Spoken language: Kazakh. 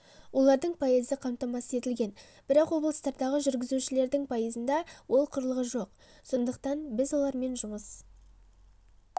олардың пайызы қамтамасыз етілген бірақ облыстардағы жүргізушілердің пайызында ол құрылғы жоқ сондықтан біз олармен жұмыс